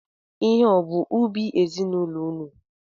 Ihe a ọ bụ ubi ezinaụlọ ụnụ?